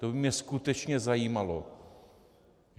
To by mě skutečně zajímalo.